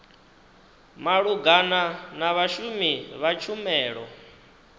malugana na vhashumi vha tshumelo